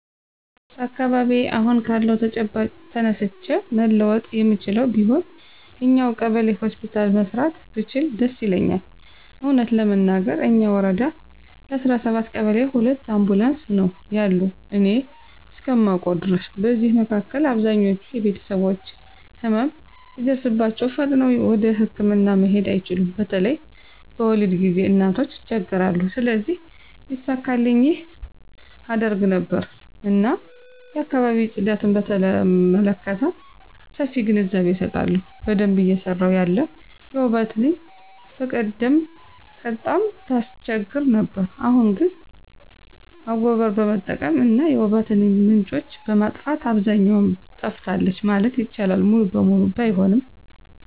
በአካባቢየ አሁን ካለው ተጨባጭ ተነስቼ መለወጥ የምችለው ቢሆን እኛው ቀበሌ ሆስፒታል መስራት ብችል ደስ ይለኛል። እውነት ለመናገር እኛ ወረዳ ለ17 ቀበሌ ሁለት አምቡላንስ ነው ያሉ እኔ እስከማውቀው ድረስ። በዚህ መካከል አብዛኞች ቤተሰቦች ህመም ሲደርስባቸው ፈጥነው ወደህክምና መሄድ አይችሉም በተለይ በወሊድ ጊዜ እናቶች ይቸገራሉ። ስለዚህ ቢሳካልኝ ይህን አደርግ ነበር። እና የአካባቢ ጽዳትን በተመለከተ ሰፊ ግንዛቤ አሰጣለሁ። በደንብ እየሰራ ያለ የወባ ትንኝ በቀደም ቀጣም ታስቸግር ነበር አሁን አሁን ግን አጎቀር በመጠቀም እና የወባ ትንኝ ምንጮችን በማጥፋት አብዛኛው ጠፍታለች ማለት ይቻላል ሙሉ በሙሉ ባይሆንም።